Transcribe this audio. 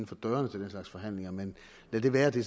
for dørene til den slags forhandlinger men lad det være det